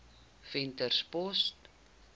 venterspost